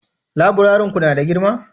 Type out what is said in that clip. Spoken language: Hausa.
laburaren Ku na da girma?